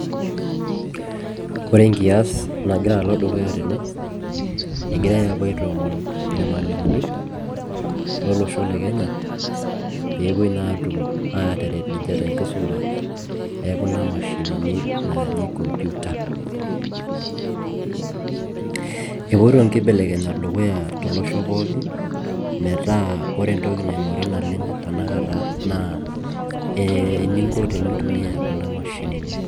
Ore enkiaas nagira alo dukuya tene egirai aapuo aitoomon irmalimuni lolosho le Kenya pee epuoi naa aatum aataret ninche te enkisuma e kuna mashinini naaji computer epoito inkebelenyat tolosho pookin metaa ore entoki naing'ori tanakata naa eninko tenitumiyaai kuna mashinini.